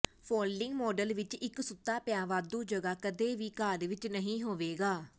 folding model ਵਿੱਚ ਇੱਕ ਸੁੱਤਾ ਪਿਆ ਵਾਧੂ ਜਗ੍ਹਾ ਕਦੇ ਵੀ ਘਰ ਵਿੱਚ ਨਹੀਂ ਹੋਵੇਗਾ